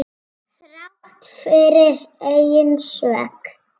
Þrátt fyrir eigin sök.